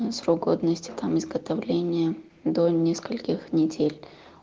срок годности там изготовления до нескольких недель